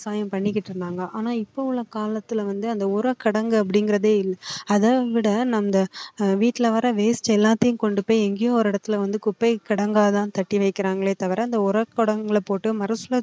பயன் பண்ணிக்கிட்டு இருந்தாங்க ஆனா இப்போ உள்ள காலத்துல வந்து அந்த உரக் கிடங்கு அப்படிங்கறதே அதை விட நம்ம வீட்ல வேற waste எல்லாத்தையும் கொண்டு போய் எங்கயோ ஒரு இடத்துல வந்து குப்பை கிடங்காதான் கட்டி வைக்கிறாங்களே தவிர அந்த உரக்கிடங்குல போட்டு